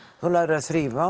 þú lærir að þrífa